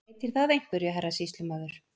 Breytir það einhverju, herra sýslumaður.